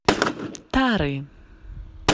тары